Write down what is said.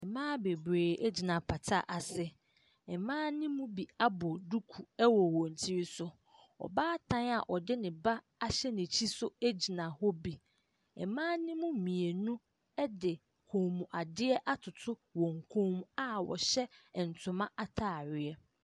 Mmaa beberee egyina apata ase. Mmaa no mu bi abɔ duku ɛwɔ wɔn tiri so. Ɔbaatan a ɔde ne ba ahyɛ n'akyi nso egyina hɔ bi. Mmaa ne mu mmienu ɛde kɔn mu adeɛ atoto wɔn kɔn mu a wɔhyɛ ntoma ataareɛ.